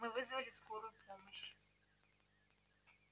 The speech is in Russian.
мы вызвали скорую помощь